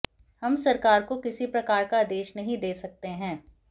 हम सरकार को किसी प्रकार का आदेश नहीं दे सकते हैं